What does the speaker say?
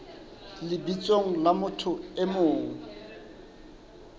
lebitsong la motho e mong